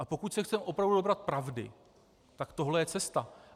A pokud se chceme opravdu dobrat pravdy, tak tohle je cesta.